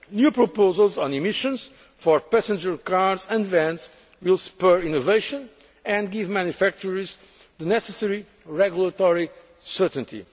strategy. New proposals on emissions for passenger cars and vans will spur innovation and give manufacturers the necessary regulatory